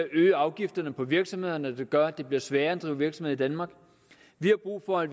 øgede afgifterne for virksomhederne noget der gør at det bliver sværere at drive virksomhed i danmark vi har brug for at